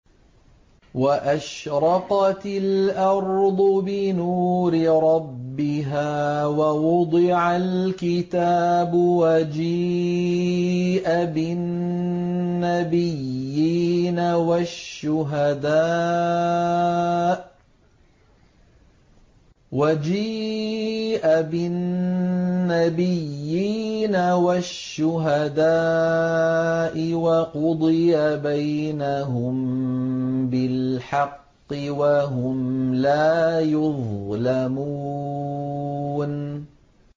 وَأَشْرَقَتِ الْأَرْضُ بِنُورِ رَبِّهَا وَوُضِعَ الْكِتَابُ وَجِيءَ بِالنَّبِيِّينَ وَالشُّهَدَاءِ وَقُضِيَ بَيْنَهُم بِالْحَقِّ وَهُمْ لَا يُظْلَمُونَ